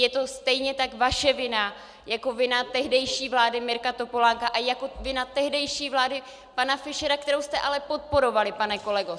Je to stejně tak vaše vina jako vina tehdejší vlády Mirka Topolánka a jako vina tehdejší vlády pana Fischera, kterou jste ale podporovali, pane kolego!